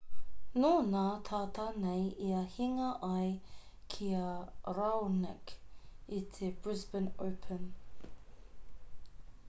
nō nā tata nei ia hinga ai ki a raonic i te brisbane open